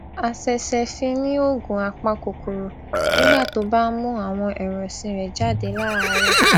a sese fi ni ògùn apakòkòrò nígbà tó bá ń mu awon ẹran òsìn rè jade láàárò